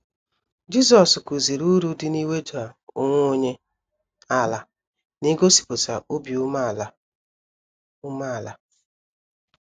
Jisọs kụziri uru dị n’iweda onwe onye ala na igosipụta obi umeala. umeala.